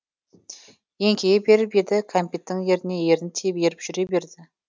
еңкейе беріп еді кәмпиттің еріне ерін тиіп еріп жүре берді